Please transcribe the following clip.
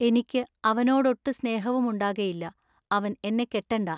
ഇനിക്കു അവ നോടൊട്ടു സ്നേഹവുമുണ്ടാകയില്ല. അവൻ എന്നെ കെട്ടെണ്ടാ.